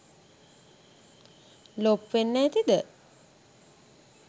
ලොප් වෙන්න ඇතිද ?